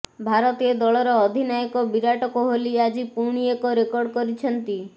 ଭାରତୀୟ ଦଳର ଅଧିନାୟକ ବିରାଟ କୋହଲି ଆଜି ପୁଣି ଏକ ରେକର୍ଡ଼ କରିଛନ୍ତି